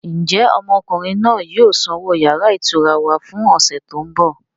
Ń jẹ́ ọmọkùnrin náà yìí ó sanwó yàrá ìtura wá fún ọ̀sẹ̀ tí ó ń bọ̀?